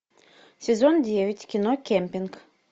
сезон девять кино кемпинг